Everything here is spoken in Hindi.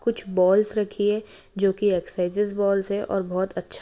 कुछ बॉल्स रखी है जो की एक्सरसाईसेस बॉल्स है और बहुत अच्छा--